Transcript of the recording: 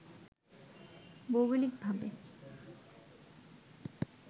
ভৌগোলিক ভাবে